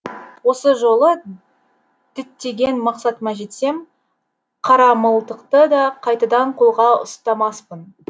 осы жолы діттеген мақсатыма жетсем қарамылтықты да қайтадан қолға ұстамаспын